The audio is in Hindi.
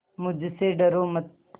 मुझसे डरो मत